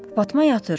Fatma yatır.